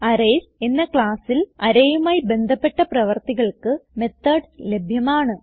arrays എന്ന ക്ലാസ്സിൽ arrayയുമായി ബന്ധപ്പെട്ട പ്രവർത്തികൾക്ക് മെത്തോഡ്സ് ലഭ്യമാണ്